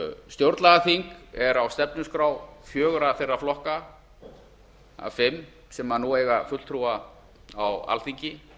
stjórnlagaþing er á stefnuskrá fjögurra þeirra flokka af fimm sem nú eiga fulltrúa á alþingi